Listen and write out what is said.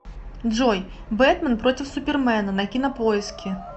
джой бэтмен против супермена на кинопоиске